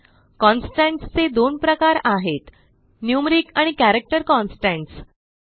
constants चे दोन प्रकार आहेतNumeric आणि कॅरेक्टर कॉन्स्टंट्स